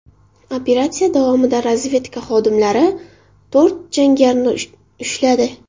Operatsiya davomida razvedka xodimlari to‘rt jangarini ushladi.